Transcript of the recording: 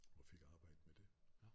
Og fik arbejde med det